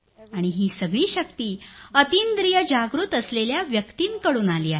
आणि ही सगळी शक्ती अतींद्रिय जागृत असलेल्या व्यक्तींकडून आली आहे